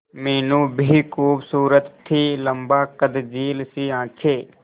मीनू भी खूबसूरत थी लम्बा कद झील सी आंखें